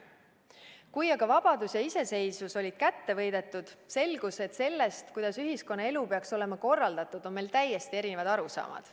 Kui aga vabadus ja iseseisvus oli kätte võidetud, selgus, et sellest, kuidas ühiskonnaelu peaks olema korraldatud, on meil täiesti erinevad arusaamad.